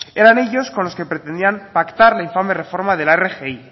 eran ellos con los que pretendían pactar la infame reforma de la rgi